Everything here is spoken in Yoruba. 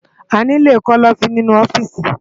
Àniló kòlòfin ninú òfìsí